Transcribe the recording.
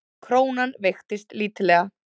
Krónan veiktist lítillega